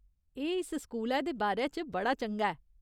एह् इस स्कूलै दे बारे च बड़ा चंगा ऐ।